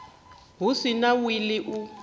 hu si na wili u